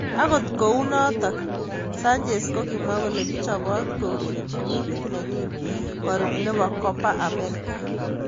Agot kunotok, Sanchez kokimwo kole kichopot kourerenji timit nenyin korub nebo Coba America.